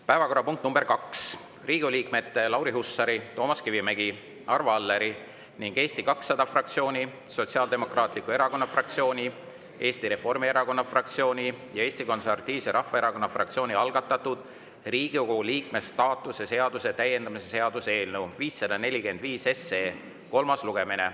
Päevakorrapunkt nr 2 on Riigikogu liikmete Lauri Hussari, Toomas Kivimägi, Arvo Alleri ning Eesti 200 fraktsiooni, Sotsiaaldemokraatliku Erakonna fraktsiooni, Eesti Reformierakonna fraktsiooni ja Eesti Konservatiivse Rahvaerakonna fraktsiooni algatatud Riigikogu liikme staatuse seaduse täiendamise seaduse eelnõu 545 kolmas lugemine.